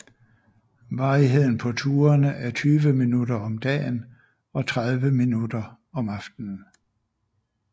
Varigheden på turene er 20 minutter om dagen og 30 minutter om aftenen